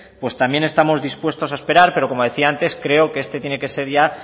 pues también estamos dispuestos a esperar pero como decía antes creo que este tiene que ser ya